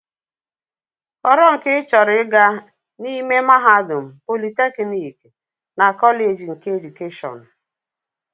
Họrọ nke ị chọrọ ịga n'ime mahadum, politeknik na kọleeji keedukeshọn!